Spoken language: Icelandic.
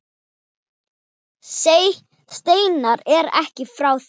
Steinar er ekki frá því.